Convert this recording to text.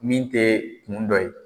Min te kun dɔ ye.